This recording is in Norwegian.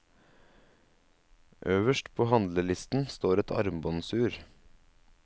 Øverst på handlelisten står et armbåndsur.